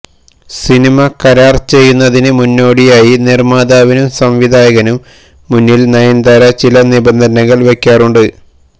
cinema കരാർ ചെയ്യുന്നതിന് മുന്നോടിയായി നിർമ്മാതാവിനും സംവിധായകനും മുന്നിൽ നയൻതാര ചില നിബന്ധനകൾ വയ്ക്കാറുണ്ട്